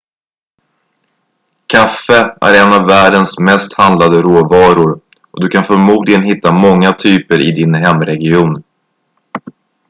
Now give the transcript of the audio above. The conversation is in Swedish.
kaffe är en av världens mest handlade råvaror och du kan förmodligen hitta många typer i din hemregion